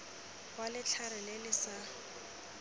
wa letlhare le le sa